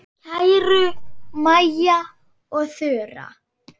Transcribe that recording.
Kæru Maja og Þura.